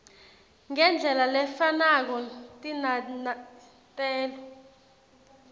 ngendlela lefanako tinanatelo